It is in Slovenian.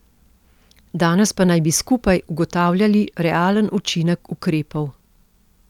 Danes pa naj bi skupaj ugotavljali realen učinek ukrepov.